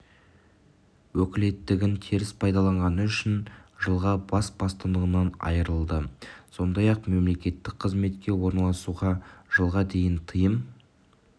өкілеттігін теріс пайдаланғаны үшін жылға бас бостандығынан айырылды сондай-ақ мемлекеттік қызметке орналасуға жылға дейін тыйым